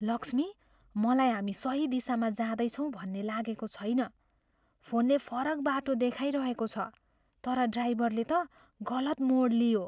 लक्ष्मी, मलाई हामी सही दिशामा जाँदैछौँ भन्ने लागेको छैन। फोनले फरक बाटो देखाइरहेको छ तर ड्राइभरले त गलत मोड लियो।